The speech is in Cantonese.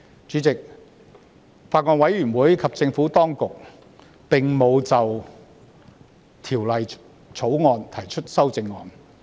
主席，法案委員會及政府當局不擬就《條例草案》提出修正案。